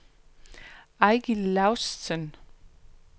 Eigil Laustsen